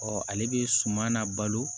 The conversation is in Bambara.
ale bɛ suma la balo